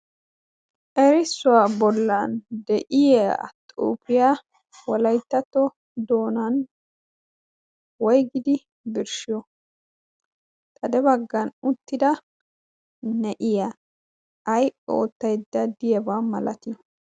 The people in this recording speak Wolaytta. Erissuwa bollan de'iyaa xuufiyaa Wolayttato donan woyggidi birshiyo? xade baggan de'iyaa na'iyaa ay ootaydda diyaaba malati?